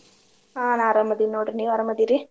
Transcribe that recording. ಹಾ ನಾ ಅರಾಮದಿನ ನೋಡ್ರಿ ನೀವ್ ಅರಾಮದಿರಿ?